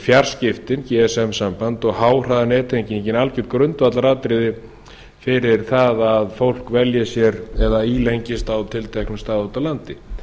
fjarskiptin gsm samband og háhraðanettenging algjört grundvallaratriði fyrir það að fólk velji sér eða ílengist á tilteknum stað úti á landi